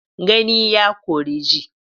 Gani ya ƙore ji.